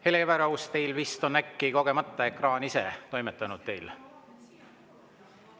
Hele Everaus, teil vist on ekraan kogemata ise toimetanud?